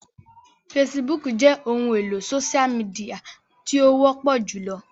Fèsìbúukù jẹ ohun elo sósia mìdìya ti o wọpọ julọ